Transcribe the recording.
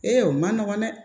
o ma nɔgɔn dɛ